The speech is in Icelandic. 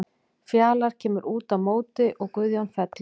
Fjalar kemur út á móti og Guðjón fellur.